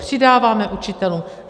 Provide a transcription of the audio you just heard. Přidáváme učitelům.